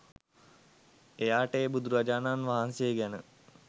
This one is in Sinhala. එයාට ඒ බුදුරජාණන් වහන්සේ ගැන